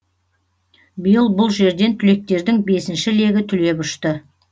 биыл бұл жерден түлектердің бесінші легі түлеп ұшты